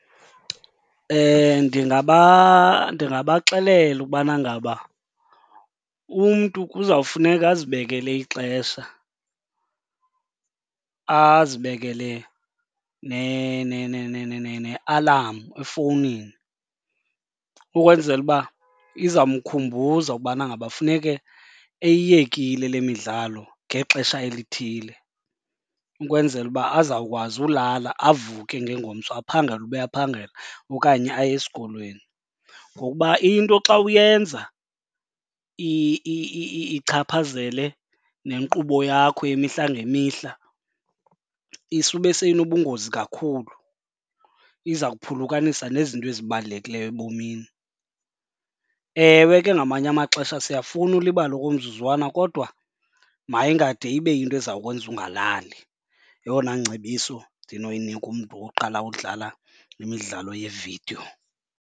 Ndingabaxelela ukubana ngaba umntu kuzawufuneka azibekele ixesha, azibekele nealamu efowunini ukwenzela uba iza mkhumbuza ukubana ngaba funeke eyiyekile le midlalo ngexesha elithile ukwenzela uba azawukwazi ulala avuke ngengomso aphangele uba aphangela okanye aye esikolweni. Ngokuba into xa uyenza ichaphazele nenkqubo yakho yemihla ngemihla isube seyinobungozi kakhulu, iza kuphulukanisa nezinto ezibalulekileyo ebomini. Ewe ke ngamanye amaxesha, siyafuna ulibala okomzuzwana kodwa mayingade ibe yinto ezawukwenza ungalali. Yeyona ngcebiso ndinoyinika umntu oqala udlala imidlalo yevidiyo.